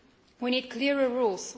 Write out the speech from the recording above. We need clearer rules.